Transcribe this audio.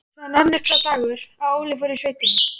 Svo rann upp sá dagur að Óli fór í sveitina.